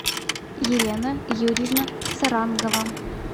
елена юрьевна сарангова